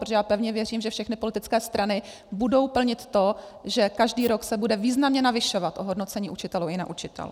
Protože já pevně věřím, že všechny politické strany budou plnit to, že každý rok se bude významně navyšovat ohodnocení učitelů i neučitelů.